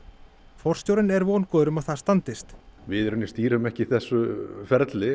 forstjórinn er vongóður um að það standist við í rauninni stýrum ekki þessu ferli